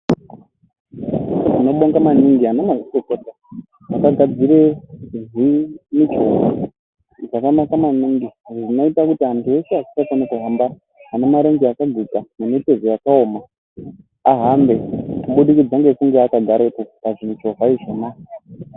Tinobonga maningi ana mazvikokota akagadzire michini dzakanaka maningi dzinoita kuti antu eshe asingakoni kuhamba vane marenje akaguna nemutezo yakaoma ahambe kubudikidza ngekunge akagarapo pazvimuchovha ichona.